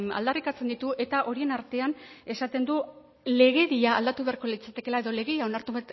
aldarrikatzen ditu eta horien artean esaten du legedia aldatu beharko litzatekeela edo legedia onartu